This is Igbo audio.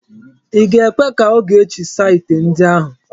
I ga-ekwe ka Ogechi saa ite ndi ahụ?